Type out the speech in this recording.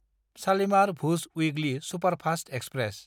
शालिमार–भुज weekly superfast express